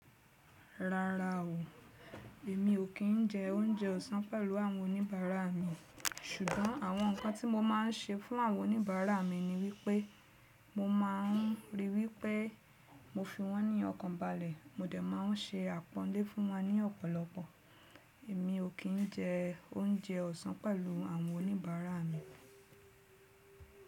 Rárá o, èmi ò kí ń jẹ oúnjẹ ọ̀sán pẹ̀lú àwọn oníbàárà mi, ṣùgbọ́n àwọn ǹkan tí mo máa ń ṣe fún àwọn oníbàárà mi ni wípé mo máa ń ríi wípé mo fi wọ́n ní ọkàn balẹ̀, mo dẹ̀ máa ń se àpọ́nlé fún wọn ní ọ̀pọ̀lọpọ̀. Èmi ò kí ń jẹ oúnjẹ ọ̀sán pẹ̀lú àwọn oníbàárà mi.